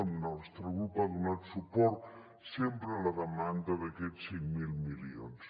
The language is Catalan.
el nostre grup ha donat suport sempre a la demanda d’aquests cinc mil milions